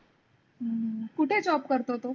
हम्म कुठे job करतो तो?